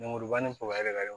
Lemuruba ni de ka ɲi